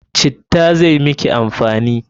Citta zai miki amfani!